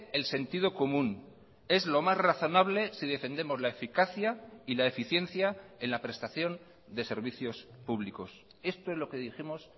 el sentido común es lo más razonable si defendemos la eficacia y la eficiencia en la prestación de servicios públicos esto es lo que dijimos